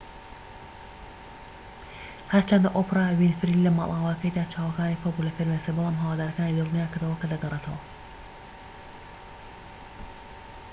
هەرچەندە ئۆپرا وینفری لە ماڵئاواییەکەیدا چاوەکانی پڕبوو لە فرمێسک بەڵام هەوادارەکانی دڵنیاکردەوە کە دەگەڕێتەوە